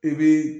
I bi